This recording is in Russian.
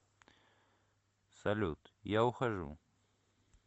салют я ухожу